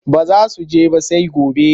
Ba za su he ba sai gobe.